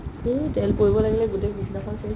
অ', তেল পৰিব লাগিলে গোটেই বিচনাখন চেচ্